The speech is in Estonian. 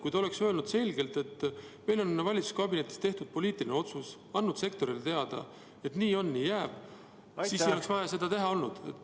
Kui te oleks öelnud selgelt, et valitsuskabinetis on tehtud poliitiline otsus, ja andnud sektorile teada, et nii on ja nii jääb, siis ei oleks seda vaja olnud.